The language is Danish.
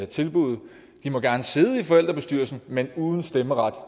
tilbuddet de må gerne sidde i forældrebestyrelsen men uden stemmeret